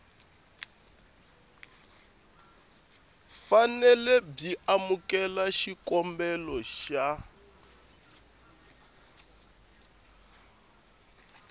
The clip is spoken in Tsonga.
fanele byi amukela xikombelo xa